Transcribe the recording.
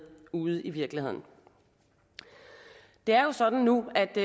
ude i virkeligheden det er jo sådan nu at det